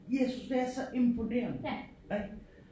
Jeg synes det er så imponerende ik